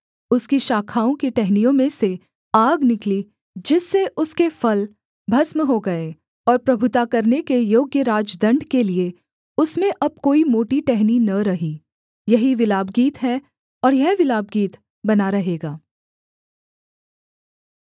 उसकी शाखाओं की टहनियों में से आग निकली जिससे उसके फल भस्म हो गए और प्रभुता करने के योग्य राजदण्ड के लिये उसमें अब कोई मोटी टहनी न रही यही विलापगीत है और यह विलापगीत बना रहेगा